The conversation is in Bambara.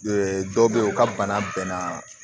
dɔw bɛ yen u ka bana bɛnna